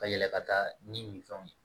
Ka yɛlɛ ka taa ni min fɛnw ye